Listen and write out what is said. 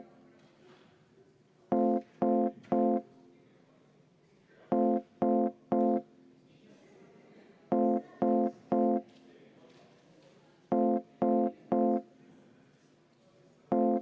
Aitäh, austatud eesistuja!